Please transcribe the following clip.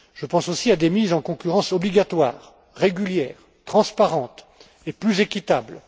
Je pense aussi à des mises en concurrence obligatoires, régulières, transparentes et plus équitables.